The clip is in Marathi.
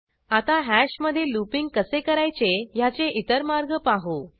आता हॅशमधे लूपिंग कसे करायचे ह्याचे इतर मार्ग पाहू